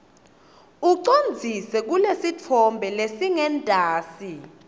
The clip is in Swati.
ucondzise kulesitfombe lesingentasi